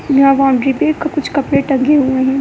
यहां बाउंड्री पे कुछ कपड़े टंगे हुए हैं।